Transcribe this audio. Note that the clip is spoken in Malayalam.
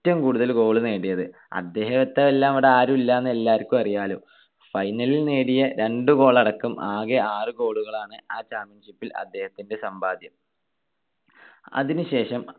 ഏറ്റവും കൂടുതൽ goal നേടിയത്. അദ്ദേഹത്തെ വെല്ലാൻ ഇവിടെ ആരുമില്ലാന്നു എല്ലാവർക്കും അറിയാലോ. final ൽ നേടിയ രണ്ട് goal അടക്കം ആകെ ആറ് goal കളാണ് ആ championship ൽ അദ്ദേഹത്തിന്റെ സമ്പാദ്യം. അതിനുശേഷം